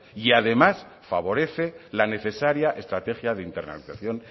y además favorece la necesaria estrategia de internacionalización